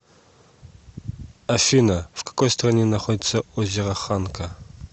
афина в какой стране находится озеро ханка